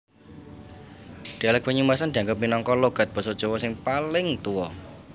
Dhialèk Banyumasan dianggep minangka logat Basa Jawa sing paling tuwa